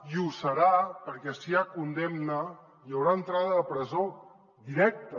i ho serà perquè si hi ha condemna hi haurà entrada a la presó directa